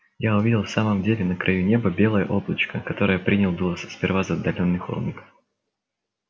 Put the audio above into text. я увидел в самом деле на краю неба белое облачко которое принял было сперва за отдалённый холмик